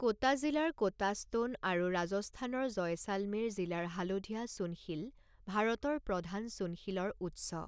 Quota জিলাৰ কোটাষ্টোন আৰু ৰাজস্থানৰ জয়শালমেৰ জিলাৰ হালধীয়া চূণশিল ভাৰতৰ প্ৰধান চূণশিলৰ উৎস।